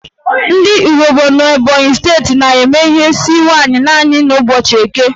Ndị Ehugbo n'Ebonyi steeti na-eme ihe n'isi nwaanyị naanị n' ụbọchị Eke